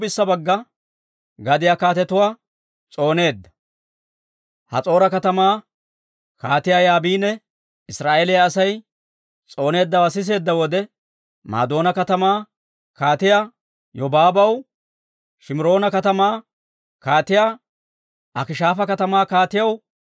Has'oora katamaa Kaatiyaa Yaabini Israa'eeliyaa Asay s'ooneeddawaa siseedda wode, Madoona katamaa Kaatiyaa Yobaabaw, Shimiroona katamaa kaatiyaw, Akishaafa katamaa kaatiyaw,